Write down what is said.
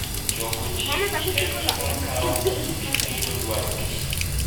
Choko chiembgi en gima kawo kinde kendo dwaro kinda.